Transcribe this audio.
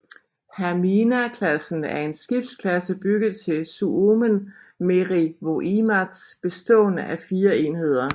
Hamina klassen er en skibsklasse bygget til Suomen merivoimat bestående af 4 enheder